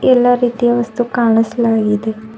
ಎಲ್ಲಾ ರೀತಿಯ ವಸ್ತು ಕಾಣಸ್ಲಾ ಇದೆ.